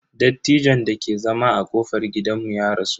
Dattijon dake zama a kofar gidanmu ya rasu.